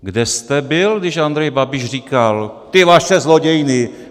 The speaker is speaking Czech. Kde jste byl, když Andrej Babiš říkal: Ty vaše zlodějny!